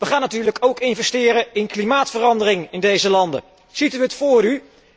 Wij gaan natuurlijk ook investeren in klimaatverandering in deze landen. Ziet u het voor u?